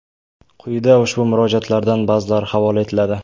Quyida ushbu murojaatlardan ba’zilari havola etiladi.